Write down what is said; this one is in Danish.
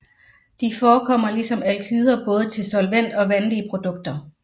De forekommer ligesom alkyder både til solvent og vandige produkter